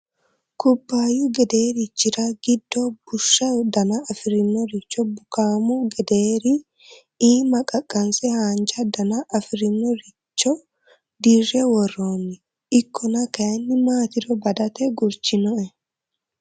Kubbayu gederichira giddo bushshu danna afirinorichi bukkamu gederi iima qaqanse haanja dana afirinoricho dirre worroni ikkonna kayinni maatiro badate gurchinoe.